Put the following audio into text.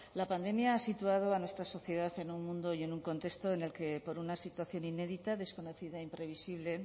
la pandemia ha situado a nuestra sociedad en un mundo y en un contexto en el que por una situación inédita desconocida e imprevisible